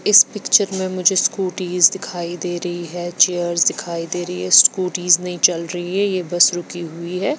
इस पिक्चर में मुझे स्कूटीज दिखाई दे रही है चेयर्स दिखाई दे रही है स्कूटीज नहीं चल रही है ये बस रुकी हुई है।